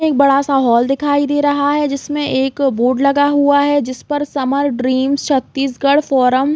एक बड़ा-सा हॉल दिखाई दे रहा है जिसमे एक बोर्ड लगा हुआ है जिसमे समर ड्रीम्स छत्तीसगढ़ फोरम --